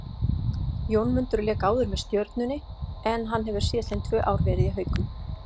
Jónmundur lék áður með Stjörnunni en hann hefur síðastliðinn tvö ár verið í Haukum.